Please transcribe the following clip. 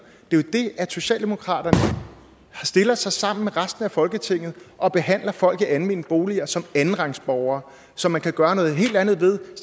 det er det at socialdemokratiet stiller sig sammen med resten af folketinget og behandler folk i almene boliger som andenrangsborgere som man kan gøre noget helt andet ved og